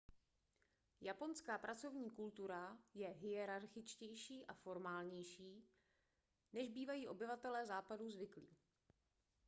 japonská pracovní kultura je hierarchičtější a formálnější než bývají obyvatelé západu zvyklí